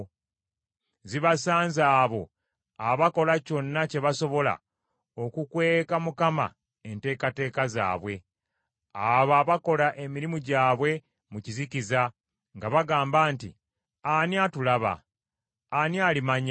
Zibasanze abo abakola kyonna kye basobola okukweka Mukama enteekateeka zaabwe, abo abakola emirimu gyabwe mu kizikiza nga bagamba nti, “Ani atulaba? Ani alimanya?”